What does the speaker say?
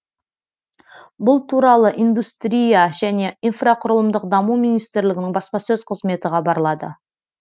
бұл туралы индустрия және инфрақұрылымдық даму министрлігінің баспасөз қызметі хабарлады